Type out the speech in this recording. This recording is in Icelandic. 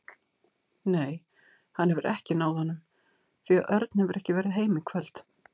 Nei, hann hefur ekki náð honum því að Örn hefur ekki verið heima í kvöld.